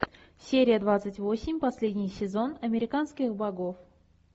серия двадцать восемь последний сезон американских богов